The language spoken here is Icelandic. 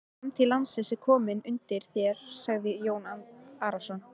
Framtíð landsins er komin undir þér, sagði Jón Arason.